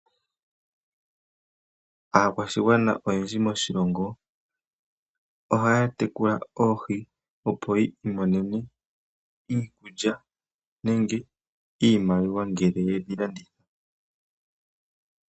Aakwashigwana oyendji moshilongo ohaa tekula oohi muundama, opo yi imonene osheelelwa nenge iimaliwa ngele yedhi landithapo.